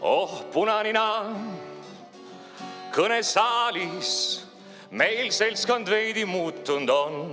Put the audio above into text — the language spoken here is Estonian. Oh, punanina, kõnesaalis meil seltskond veidi muutund on.